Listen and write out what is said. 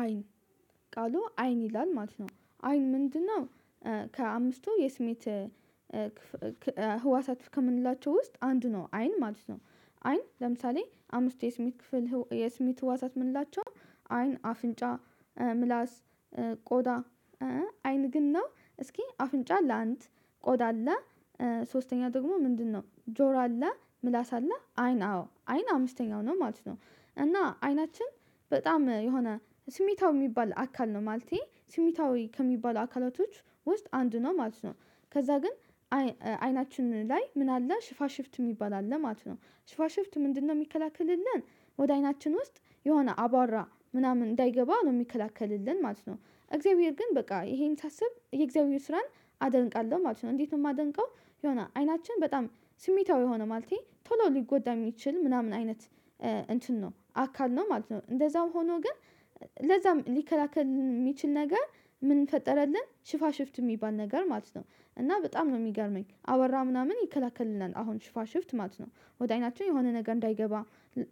አይን ቃሉ አይን ይላል ማለት ነው አይን ምንድነው? ከአምስቱ የስሜት ህዋሳት ከምንላቸው ውስጥ አንድ ነው አይን ማለት ነው። አይን ለምሳሌ አምስት የስሜት ክፍል የስሜት ህዋሳት የምንላቸው አይን አፍንጫ ምላስ ቆዳ አይን ግን እና እስኪ አፍንጫ ለአንድ ቆዳ አለ። ሶስተኛ ደግሞ ምንድነው? ጆሮ አለ ምላስ አለ አይን አዎ አይን አምስተኛው ነው ማለት ነው። እና አይናችን በጣም የሆነ ስሜታዊ የሚባል አካል ነው ማለቴ ስሚታዊ ከሚባሉ አካላቶች ውስጥ አንድ ነው ማለት ነው። ከዛ ግን አይናችን ላይ ምን አለ ሽፋሽፍት የሚባል አለ ማለት ነው። ሽፋሽፍት ምንድነው? የሚከላክልልን ወደ አይናችን ውስጥ የሆነ አቧራ ምናምን እንዳይገባ ነው የሚከላከልልን ማለት ነው። እግዚአብሔር ግን በቃ ይሄን ሳስብ የእግዚአብሔር ስራን አደንቃለሁ ማለት ነው። እንዴት ነው የማደንቀው? የሆነ አይናችን በጣም ስሚታው የሆነ ማለቴ ቶሎ ሊጎዳ የሚችል ምናምን አይነት እንትን ነው አካል ነው። ማለት ነው እንደዛው ሆኖ ግን ለዛም ሊከላከል የሚችል ነገር ምን ፈጠረልን ሽፋሽፍት የሚባል ነገር ማለት ነው። እና በጣም ነው የሚገርመኝ አቧራ ምናምን ይከለክልናል አሁን ሽፋሽፍ ትማት ነው። ወደ አይናችን የሆነ ነገር እንዳይገባ